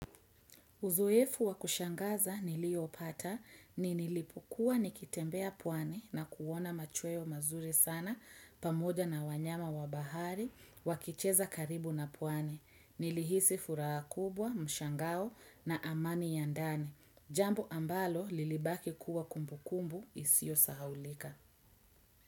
Uzoefu wakushangaza niliopata ni nilipokua nikitembea pwani na kuona machweo mazuri sana pamoja na wanyama wabahari, wakicheza karibu na pwani. Nilihisi furahakubwa, mshangao na amani yandane. Jambo ambalo lilibaki kuwa kumbukumbu isio sahaulika.